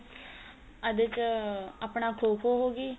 ਇਹਦੇ ਚ ਆਪਣਾ ਖੋ ਖੋ ਹੋ ਗਈ